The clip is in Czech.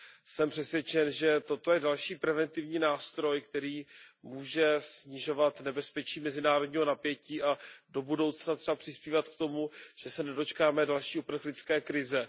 Jsem přesvědčen, že toto je další preventivní nástroj, který může snižovat nebezpečí mezinárodního napětí a do budoucna třeba přispívat k tomu, že se nedočkáme další uprchlické krize.